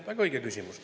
Väga õige küsimus.